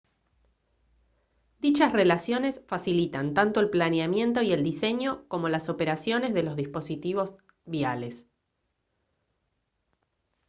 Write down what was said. dichas relaciones facilitan tanto el planeamiento y el diseño como las operaciones de los dispositivos viales